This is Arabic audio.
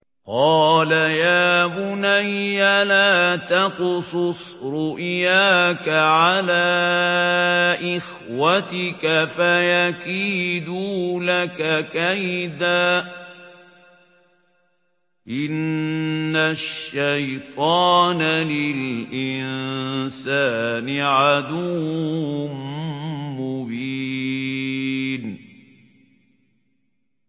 قَالَ يَا بُنَيَّ لَا تَقْصُصْ رُؤْيَاكَ عَلَىٰ إِخْوَتِكَ فَيَكِيدُوا لَكَ كَيْدًا ۖ إِنَّ الشَّيْطَانَ لِلْإِنسَانِ عَدُوٌّ مُّبِينٌ